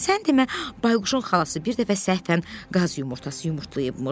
Sən demə, Bayquşun xalası bir dəfə səhvən qaz yumurtası yumurtlayıbmış.